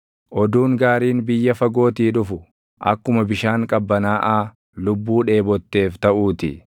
Oduun gaariin biyya fagootii dhufu, akkuma bishaan qabbanaaʼaa lubbuu dheebotteef taʼuu ti.